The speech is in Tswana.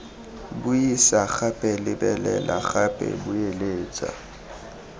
buisa gape lebelela gape boeletsa